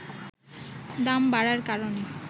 দাম বাড়ার কারণে